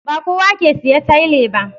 Ba kowa ke siya taile ba